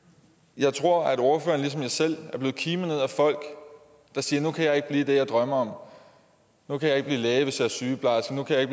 jeg tror ordføreren ligesom jeg selv er blevet kimet ned af folk der siger nu kan jeg ikke blive det jeg drømmer om nu kan jeg ikke blive læge hvis jeg er sygeplejerske nu kan jeg